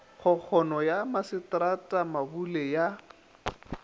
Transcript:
kgokgono ya masetrata mabule ya